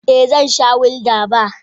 Eh zan sha gulder beer.